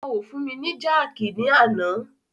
Wọn o fún mi ni jákìí ní àná.